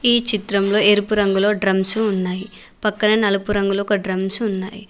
ఈ చిత్రంలో ఎరుపు రంగులో డ్రమ్స్ ఉన్నాయి పక్కన నలుపు రంగులో ఒక డ్రమ్స్ ఉన్నాయి.